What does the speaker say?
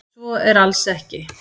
svo er alls ekki